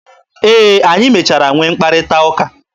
E, anyị mechara nwee mkparịta ụka.